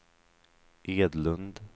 Edlund